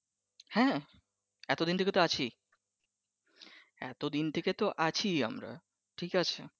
হ্যাঁ এতোদিন থেকে তো আছিই এতোদিন থেকে তো আছিই আমরা ঠিক আছে